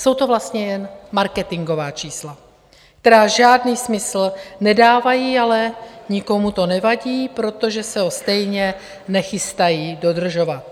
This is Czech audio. Jsou to vlastně jen marketingová čísla, která žádný smysl nedávají, ale nikomu to nevadí, protože se ho stejně nechystají dodržovat.